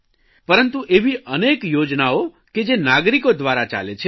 પરંતુ એવી અનેક યોજનાઓ કે જે નાગરિકો દ્વારા ચાલે છે